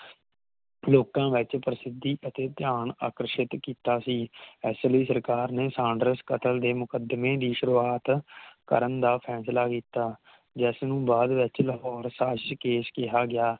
ਲੋਕਾਂ ਵਿਚ ਪ੍ਰਸਿੱਧੀ ਅਤੇ ਧਿਆਨ ਆਕਰਸ਼ਿਤ ਕੀਤਾ ਸੀ ਇਸ ਲਈ ਸਰਕਾਰ ਨੇ ਸਾਂਡਰਸ ਕਤਲ ਦੇ ਮੁਕਦਮੇ ਦੀ ਸ਼ੁਰੂਵਾਤ ਕਰਨ ਦਾ ਫੈਸਲਾ ਕੀਤਾ ਜਿਸ ਨੂੰ ਬਾਦ ਵਿਚ ਲਾਹੌਰ ਸ਼ਾਸ਼ਕੇਸ਼ ਕਿਹਾ ਗਿਆ